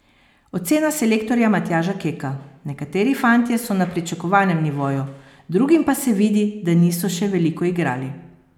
Ocena selektorja Matjaža Keka: "Nekateri fantje so na pričakovanem nivoju, drugim pa se vidi, da niso še veliko igrali.